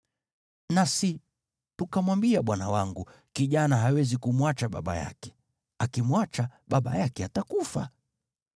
Nasi tukamwambia bwana wangu, ‘Kijana hawezi kumwacha baba yake; akimwacha, baba yake atakufa.’